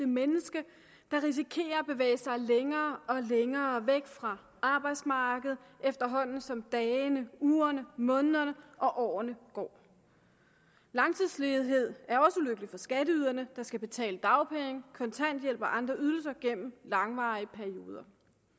menneske der risikerer at bevæge sig længere og længere væk fra arbejdsmarkedet efterhånden som dagene ugerne månederne og årene går langtidsledighed er også ulykkeligt for skatteyderne der skal betale dagpenge kontanthjælp og andre ydelser gennem langvarige perioder